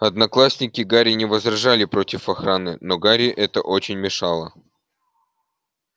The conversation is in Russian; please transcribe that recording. одноклассники гарри не возражали против охраны но гарри это очень мешало